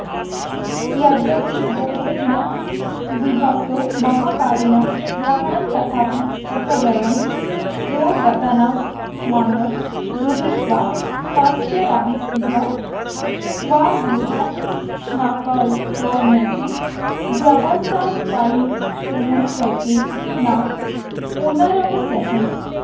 यद्यपि गौरादीनामविभक्तमहंकारेण ग्रहणं तथापि पृथगयं प्रागेतानात्मनो गृहीत्वा पश्चादविभक्तान्गृह्णन्शक्त्नोति व्यवस्थापयितुमुष्यैते न पुनरमुष्येति